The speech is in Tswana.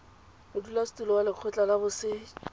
modulasetulo wa lekgotla la boset